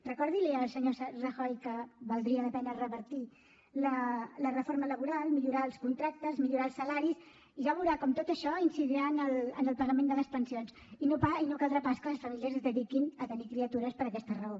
recordi li al senyor rajoy que valdria la pena revertir la reforma laboral millorar els contractes millorar els salaris i ja veurà com tot això incidirà en el pagament de les pensions i no caldrà pas que les famílies es dediquin a tenir criatures per aquesta raó